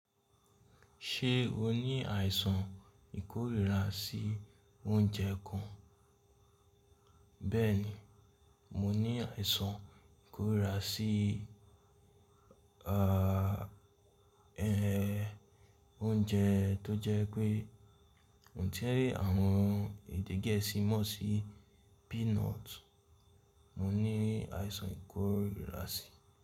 Ṣé o ní àìsàn ìkórira sí oúnjẹ kan? Bẹ́ẹ̀ni, mo ní àìsàn ìkórira sí, ah, ẹ, oúnjẹ tó jẹ́ pé òun tí àwọn èdè gẹ̀ẹ́sì mọ̀ sí peanut. Mo ní àìsàn ìkórira síi.